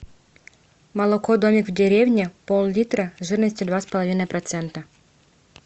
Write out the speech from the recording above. молоко домик в деревне пол литра жирностью два с половиной процента